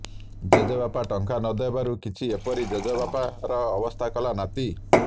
ଜେଜେବାପା ଟଙ୍କା ନଦେବାରୁ କିଛି ଏପରି ଜେଜେବାପାର ଅବସ୍ଥା କଲା ନାତି